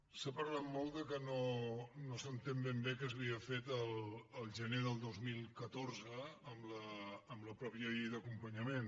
s’ha parlat molt que no s’entén ben bé què s’havia fet el gener del dos mil catorze amb la mateixa llei d’acompanyament